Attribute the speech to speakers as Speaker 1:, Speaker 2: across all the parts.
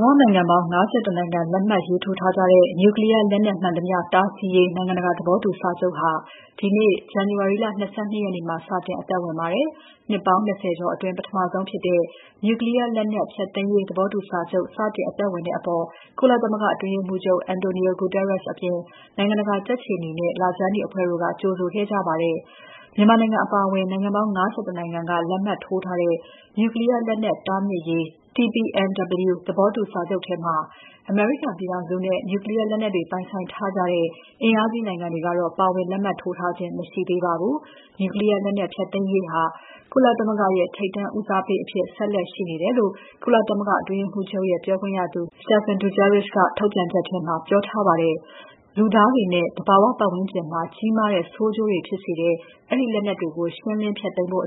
Speaker 1: မ္ဘာနိုင်ငံပေါင်း ၅၁ နိုင်ငံ လက်မှတ်ရေးထိုးထားကြတဲ့ နျူကလီးယားလက်နက်မှန်သမ ျှ တားဆီးရေး နိုင်ငံတကာ သဘောတူစာချုပ်ဟာ ဒီနေ့ ဇန်နဝါရီလ ၂၂ ရက်နေ့မှာ စတင်အသက်ဝင်ပါတယ်။ နှစ်ပေါင်း ၂၀ ကျော်အတွင်း ပထမဆုံးဖြစ်တဲ့ နျူကလီးယားလက်နက်ဖျက်သိမ်းရေး သဘောတူစာချုပ် စတင်အသက်ဝင်တဲ့အပေါ် ကုလသမဂ္ဂအတွင်းရေးမှူးချုပ် António Guterres အပြင် နိုင်ငံတကာကြက်ခြေနီနဲ့ လခြမ်းနီအဖွဲ့တို့က ကြိုဆိုခဲ့ကြပါတယ်။ မြန်မာနိုင်ငံအပါအဝင် နိုင်ငံပေါင်း ၅၁ နိုင်ငံက လက်မှတ်ထိုးထားတဲ့ နျူကလီးယားလက်နက်တားမြစ်ရေး (TPNW) သဘောတူစာချုပ်ထဲမှာ အမေရိကန်ပြည်ထောင်စုနဲ့ နျူကလီးယားလက်နက်တွေ ပိုင်ဆိုင်ထားကြတဲ့ အင်အားကြီးနိုင်ငံတွေကတော့ ပါဝင်လက်မှတ်ထိုးထားခြင်း မရှိသေးပါဘူး။ နျူကလီးယားလက်နက်ဖျက်သိမ်းရေးဟာ ကုလသမဂ္ဂရဲ့ ထိပ်တန်းဦးစားပေးအဖြစ် ဆက်လက်ရှိနေတယ်လို့ ကုလသမဂ္ဂအတွင်းရေးမှူးချုပ်ရဲ့ ပြောခွင့်ရသူ Stéphane Dujarric က ထုတ်ပြန်ချက်ထဲမှာ ပြောထားပါတယ်။ လူသားတွေနဲ့ သဘာဝပတ်ဝန်းကျင်မှာ ကြီးမားတဲ့ ဆိုးကျိုးတွေဖြစ်စေတဲ့ အဲဒီလက်နက်တွေကို ရှင်းလင်းဖျက်သိမ်းဖို့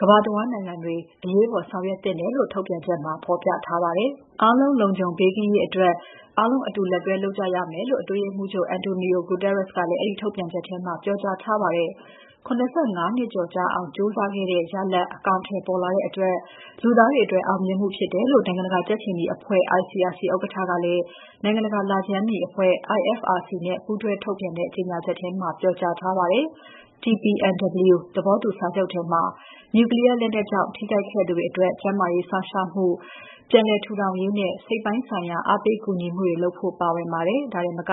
Speaker 1: ကမ္ဘာတဝန်းနိုင်ငံတွေ အရေးပေါ်ဆောင်ရွက်သင့်တယ်လို့ ထုတ်ပြန်ချက်မှာ ဖော်ပြထားပါတယ်။ အားလုံးလုံခြုံဘေးကင်းရေးအတွက် အားလုံးအတူလက်တွဲလုပ်ကြရမယ်လို့ အတွင်းရေးမှူးချုပ် António Guterres ကလည်း အဲဒီထုတ်ပြန်ချက်ထဲမှာ ပြောကြားထားပါတယ်။ ၇၅ နှစ်ကျော်ကြာအောင် ကြိုးစားခဲ့တဲ့ ရလဒ်အကောင်အထည်ပေါ်လာတဲ့အတွက် လူသားတွေအတွက် အောင်မြင်မှုဖြစ်တယ်လို့ နိုင်ငံတကာကြက်ခြေနီအဖွဲ့ ICRC ဥက္ကဋ္ဌကလည်း နိုင်ငံတကာလခြမ်းနီအဖွဲ့ IFRC နဲ့ ပူးတွဲထုတ်ပြန်တဲ့ ကြေညာချက်ထဲမှာ ပြောကြားပါတယ်။ TPNW သဘောတူစာချုပ်ထဲမှာ နျူကလီးယားလက်နက်ကြောင့် ထိခိုက်ခဲ့သူတွေအတွက် ကျန်းမာရေးစောင့်ရှောက်မှု၊ ပြန်လည်ထူထောင်ရေးနဲ့ စိတ်ပိုင်းဆိုင်ရာ အားပေးကူညီမှုတွေလုပ်ဖို့ ပါဝင်ပါတယ်။ ဒါတင်မက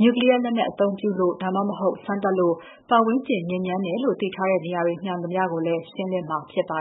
Speaker 1: နျူကလီးယားလက်နက်အသုံးပြုလို့ ဒါမှမဟုတ် စမ်းသပ်လို့ ပတ်ဝန်းကျင်ညစ်ညမ်းတယ်လို့ သိထားတဲ့နေရာတွေမှန်သမ ျှကိုလည်း ရှင်းလင်းမှာဖြစ်ပါ